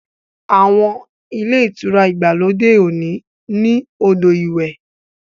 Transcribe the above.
Àwọn Ilé-ìtura ìgbàlódé òní ní odo ìwé.